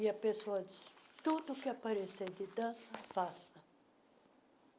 E a pessoa diz, tudo que aparecer de dança, faça.